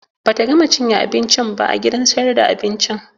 Bata gama cinye abincin ba a gidan sayar da abincin